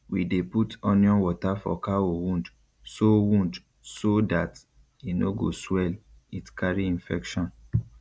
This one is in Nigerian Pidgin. we dey put onion water for cow wound so wound so dat e no go swell it carry infection